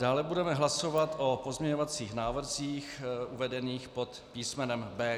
Dále budeme hlasovat o pozměňovacích návrzích uvedených pod písmenem B.